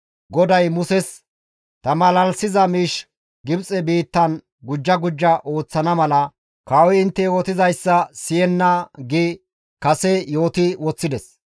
GODAY Muses, «Ta malalisiza miish Gibxe biittan gujja gujja ooththana mala kawoy intte yootizayssa siyenna» gi kase yooti woththides.